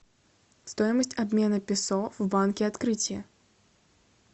стоимость обмена песо в банке открытие